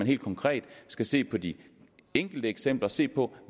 helt konkret skal se på de enkelte eksempler se på